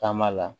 Taama la